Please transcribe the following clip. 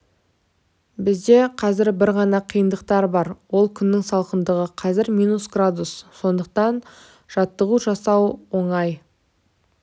бізде қазір бір ғана қиындық бар ол күннің салқындығы қазір минус градус сондықтан жаттығу жасау оңай